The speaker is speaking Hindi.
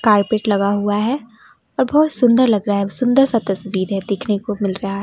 कारपेट लगा हुआ है और बहोत सुंदर लग रहा है ओ सुंदर सा तस्वीरें देखने को मिल रहा--